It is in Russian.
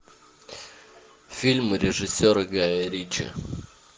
фильм режиссера гая ричи